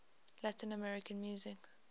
latin american music